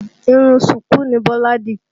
Irun ṣùkú ni Bọ́lá dì